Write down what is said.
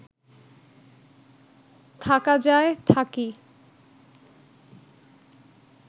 থাকা যায়, থাকি